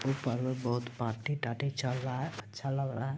ऊपर में बोहोत पार्टी तार्टी चल रहा है अच्छा लग रहा है।